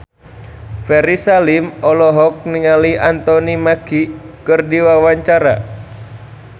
Ferry Salim olohok ningali Anthony Mackie keur diwawancara